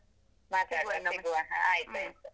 .